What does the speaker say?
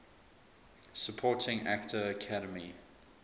supporting actor academy